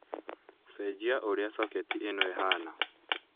cenjia uria soketi ino ihana